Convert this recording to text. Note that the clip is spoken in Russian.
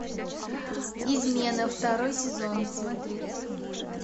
измены второй сезон смотреть